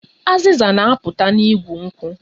Azịza na-apụta n'igu nkwụ